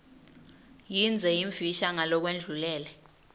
yindze yimfisha ngalokwendlulele